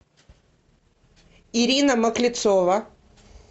ирина маклецова